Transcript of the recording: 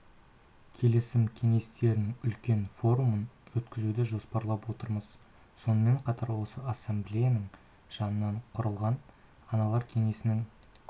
келісім кеңестерінің үлкен форумын өткізуді жоспарлап отырмыз сонымен қатар осы ассамблеяның жанынан құрылған аналар кеңесінің